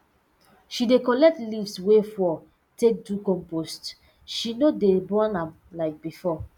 she dey collect leaves wey fall take do compost she no dey burn am like before